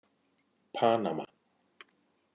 Panama